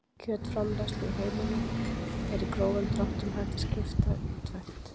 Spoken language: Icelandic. Kjötframleiðslu í heiminum er í grófum dráttum hægt að skipta í tvennt.